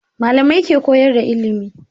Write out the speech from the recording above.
Malamai ke koyar da ilimi